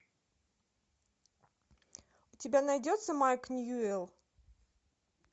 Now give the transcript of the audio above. у тебя найдется майк ньюэлл